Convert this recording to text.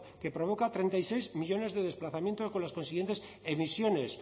que provoca treinta y seis millónes de desplazamientos con las consiguientes emisiones